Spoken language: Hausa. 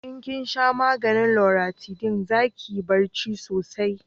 in kin sha maganin luratidin za kiyi barci sosai